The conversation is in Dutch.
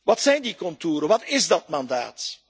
Wat zijn die contouren? Wat is dat mandaat?